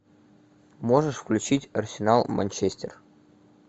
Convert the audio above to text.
можешь включить арсенал манчестер